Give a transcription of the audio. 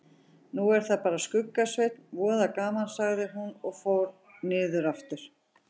Nú er það bara Skugga-Sveinn, voða gaman sagði hún og fór niður aftur.